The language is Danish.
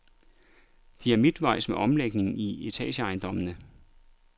De er midtvejs med omlægningen i etageejendommene.